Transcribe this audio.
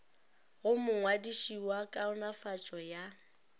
go mongwadiši wa kaonafatšo ya